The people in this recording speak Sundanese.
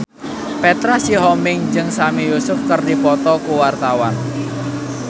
Petra Sihombing jeung Sami Yusuf keur dipoto ku wartawan